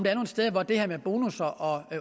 er nogle steder hvor det her med bonusser og